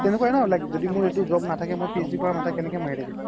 তেনেকুৱায়ে ন য্দি মোৰ এইতো job নথকিলে হয় PhD কৰা কেনেকে মাথা মাৰিলো হয়